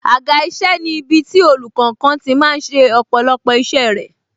Àga isẹ ni ibiti olùkankan tí máa ń ṣe ọ̀pọ̀lọpọ̀ isẹ rẹ